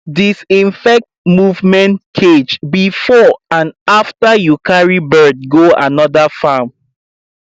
disinfect movement cage before and after you carry bird go another farm